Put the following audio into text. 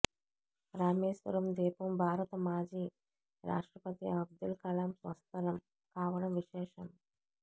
రామేశ్వరం ద్వీపం భారత మాజీ రాష్ట్రపతి అబ్దుల్ కలాం స్వస్థలం కావడం విశేషం